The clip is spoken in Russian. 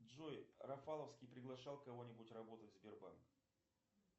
джой рафаловский приглашал кого нибудь работать в сбербанк